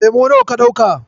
Lemo nawa ka ɗauka?